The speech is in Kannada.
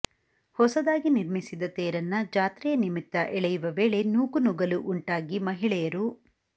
ಹೊಸದಾಗಿ ನಿರ್ಮಿಸಿದ್ದ ತೇರನ್ನ ಜಾತ್ರೆಯ ನಿಮಿತ್ತ ಎಳೆಯುವ ವೇಳೆ ನೂಕುನುಗ್ಗಲು ಉಂಟಾಗಿ ಮಹಿಳೆಯರು